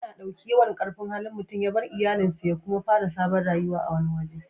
Ya na dauki yawan karfin Hali mutum ya bar iyallin sa ya kuma fara sabon rayuwa a wani waje.